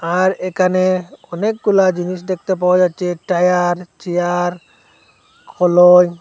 আর এখানে অনেকগুলা জিনিস দেখতে পাওয়া যাচ্ছে টায়ার চেয়ার